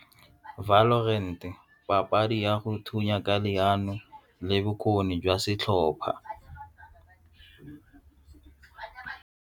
papadi ya go thunya ka leano le bokgoni jwa setlhopha.